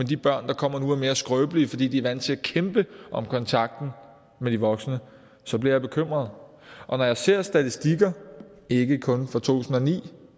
de børn der kommer nu er mere skrøbelige fordi de er vant til at kæmpe om kontakten med de voksne så bliver jeg bekymret og når jeg ser statistikker ikke kun fra to tusind og ni